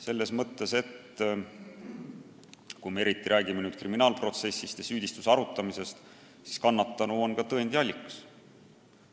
Selles mõttes, et eriti siis, kui tegu on kriminaalprotsessil süüdistuse arutamisega, siis on kannatanu ka tõendi allikas.